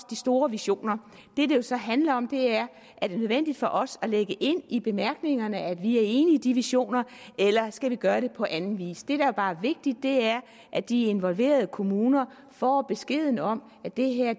de store visioner det det så handler om det er nødvendigt for os at lægge ind i bemærkningerne at vi er enige i de visioner eller skal vi gøre det på anden vis det der bare er vigtigt er at de involverede kommuner får besked om at det her